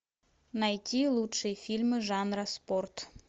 найти лучшие фильмы жанра спорт